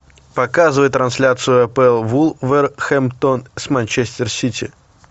показывай трансляцию апл вулверхэмптон с манчестер сити